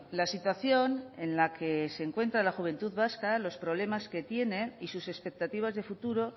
la situación en la que se encuentra la juventud vasca los problemas que tiene y sus expectativas de futuro